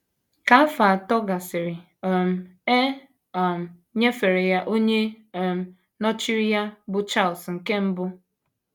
Ka afọ atọ gasịrị, um e um nyefere ya onye um nọchiri ya, bụ́ Charles nke Mbụ.